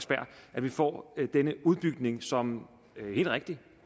at vi får denne udbygning som jo helt rigtigt